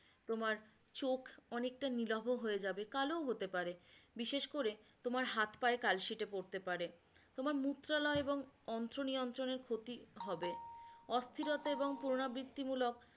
তোমার চোখ অনেকটা নীলহো হয়ে যাবে কালোও হতে পারে বিশেষ করে তোমার হাত পায়ে কালশিটে পড়তে পারে তোমার মুত্রালয় এবং অন্ত্র নিয়ন্ত্রণের ক্ষতি হবে অস্থিরতা এবং পূর্নাবৃতিমূলক